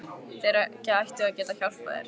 Þeir ættu að geta hjálpað þér.